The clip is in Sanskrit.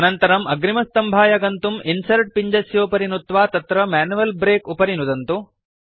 अनन्तरम् अग्रिमसम्भाय गन्तुं इन्सर्ट् पिञ्जस्योपरि नुत्वा तत्र मैन्युअल् ब्रेक उपरि नुदन्तु